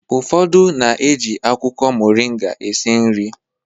Ụfodu na-eji akwụkwọ moringa esi nri